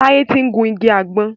Taye tí ń gún ìgi àgbon.